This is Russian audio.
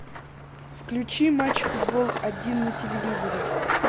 включи матч футбол один на телевизоре